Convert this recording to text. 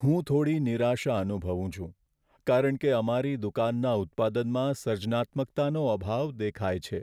હું થોડી નિરાશા અનુભવું છું કારણ કે અમારી દુકાનના ઉત્પાદનમાં સર્જનાત્મકતાનો અભાવ દેખાય છે.